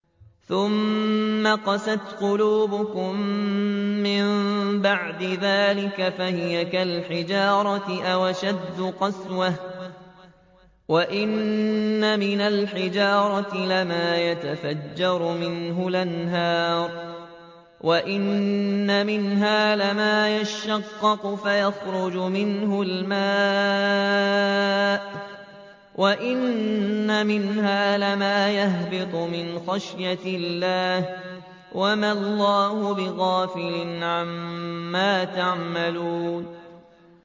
ثُمَّ قَسَتْ قُلُوبُكُم مِّن بَعْدِ ذَٰلِكَ فَهِيَ كَالْحِجَارَةِ أَوْ أَشَدُّ قَسْوَةً ۚ وَإِنَّ مِنَ الْحِجَارَةِ لَمَا يَتَفَجَّرُ مِنْهُ الْأَنْهَارُ ۚ وَإِنَّ مِنْهَا لَمَا يَشَّقَّقُ فَيَخْرُجُ مِنْهُ الْمَاءُ ۚ وَإِنَّ مِنْهَا لَمَا يَهْبِطُ مِنْ خَشْيَةِ اللَّهِ ۗ وَمَا اللَّهُ بِغَافِلٍ عَمَّا تَعْمَلُونَ